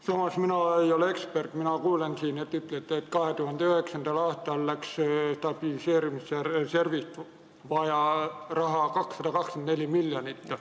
Samas, mina ei ole ekspert ja mina kuulen siin, et te ütlete, et 2009. aastal läks stabiliseerimisreservist vaja 224 miljonit.